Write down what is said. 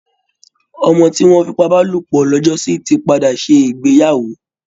ọmọ tí wọ́n fipábálòpọ̀ lọ́jọ́sí ti padà ṣe ìgbéyàwó